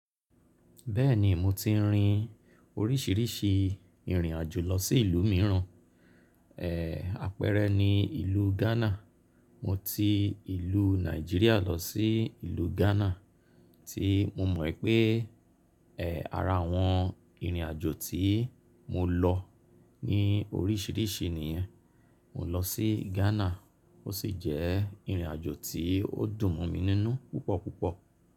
Bẹ́ẹ̀ ni mo ti rin oríṣìíríṣìí ìrìn àjò lọ sí ìlú mìíràn, àpẹẹrẹ ni ìlú Ghana. Mo ti ìlú Nàìjíríà lọ sí ìlú Ghana tí mo mọ̀ pé ara àwọn ìrìn àjò tí mo lọ ní oríṣìíríṣìí nìyẹn. Mo lọ sí Ghana ó sì jẹ́ ìrìn àjò tí ó dùn mọ̀ mi nínú púpọ̀ púpọ̀.